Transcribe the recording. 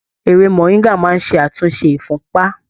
Ewé moringa máa ṣe àtúnṣe ifunpa.